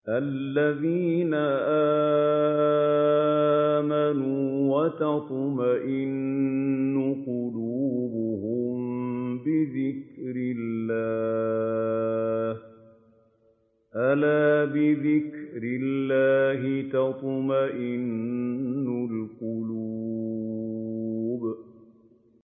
الَّذِينَ آمَنُوا وَتَطْمَئِنُّ قُلُوبُهُم بِذِكْرِ اللَّهِ ۗ أَلَا بِذِكْرِ اللَّهِ تَطْمَئِنُّ الْقُلُوبُ